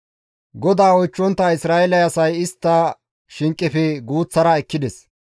GODAA oychchontta Isra7eele asay istta shinqefe guuththara ekkides.